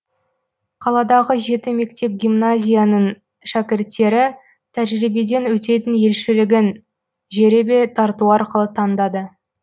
қаладағы жеті мектеп гимназияның шәкірттері тәжірибеден өтетін елшілігін жеребе тарту арқылы таңдады